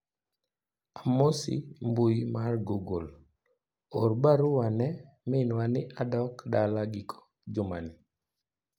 amosi mbui mar google or barua ne minwa ni adok dala giko juma ni